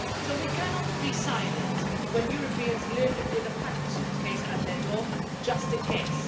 So we cannot be silent when Europeans live with a packed suitcase by their door, just in case.